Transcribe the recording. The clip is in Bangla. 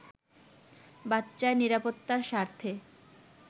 “বাচ্চার নিরাপত্তার স্বার্থে